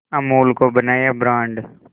अमूल को बनाया ब्रांड